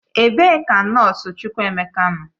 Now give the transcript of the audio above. Ebe ka nọọsụ Chukwuemeka nọ?